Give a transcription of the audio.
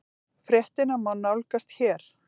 Fréttina má nálgast hér